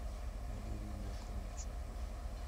валерию яковлевичу